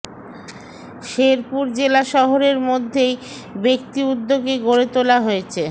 শেরপুর জেলা শহরের মধ্যেই ব্যাক্তি উদ্যোগে গড়ে তোলা হয়েছে